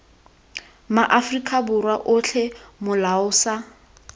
maaforika borwa otlhe molao sa